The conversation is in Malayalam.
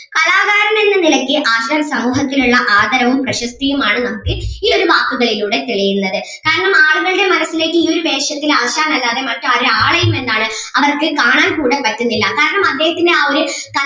കലാകാരൻ എന്ന നിലയ്ക്ക് ആശാൻ സമൂഹത്തിൽ ഉള്ള ആദരവും പ്രശസ്തിയും ആണ് നമുക്ക് ഈ ഒരു വാക്കുകളിലൂടെ തെളിയുന്നത് കാരണം ആളുകളുടെ മനസ്സിൽ ഈ ഒരു വേഷത്തിൽ ആശാൻ അല്ലാതെ മറ്റൊരാളെയും എന്താണ് അവർക്ക് കാണാൻ കൂടെ പറ്റുന്നില്ല കാരണം അദ്ദേഹത്തിന്റെ ആ ഒര്